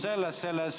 Selles on küsimus.